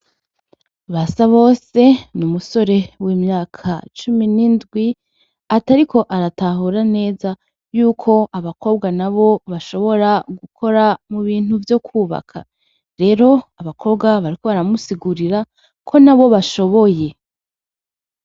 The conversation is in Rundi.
Basabose n'umusore w'imyaka cumi n'indwi atariko aratahura neza yuko abakobwa nabo bashobora gukora mubintu vyokwubaka rero abakobwa bariko baramusigurira ko nabo bashoboye.